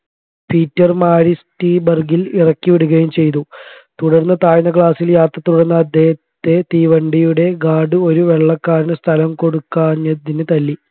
പീറ്റർമാരിസ്റ്റിബർഗിൽഇറക്കി വിടുകയും ചെയ്തു തുടർന്ന് താഴ്ന്ന class ൽ യാത്ര തുടർന്ന അദ്ദേഹത്തെ തീവണ്ടിയുടെ guard ഒരു വെള്ളക്കാരൻ സ്ഥലം കൊടുക്കാഞ്ഞതിന് തല്ലി